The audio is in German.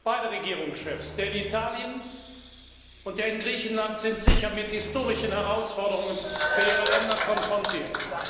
Beide Regierungschefs der in Italien und der in Griechenland sind sicher mit historischen Herausforderungen für ihre Länder konfrontiert.